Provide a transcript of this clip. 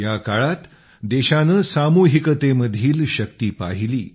या काळात देशाने सामूहिकतेमधील शक्ती पाहिली